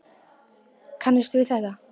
Hugrún Halldórsdóttir: Kannist við þetta?